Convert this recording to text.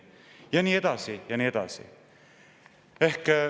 Ja nii edasi ja nii edasi.